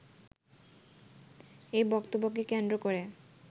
এই বক্তব্যকে কেন্দ্র করে